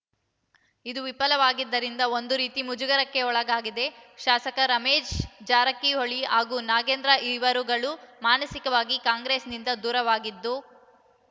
ಇದು ವಿಫಲವಾಗಿದ್ದರಿಂದ ಒಂದು ರೀತಿ ಮುಜುಗರಕ್ಕೆ ಒಳಗಾಗಿದ್ದ ಶಾಸಕ ರಮೇಶ್ ಜಾರಕಿಹೊಳಿ ಹಾಗೂ ನಾಗೇಂದ್ರ ಇವರುಗಳು ಮಾನಸಿಕವಾಗಿ ಕಾಂಗ್ರೆಸ್‌ನಿಂದ ದೂರವಾಗಿದ್ದು